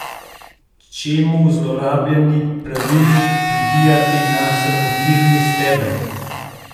Čemu zlorabljeni pravilnik pribijati na sramotilni steber?